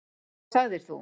Hvað sagðir þú?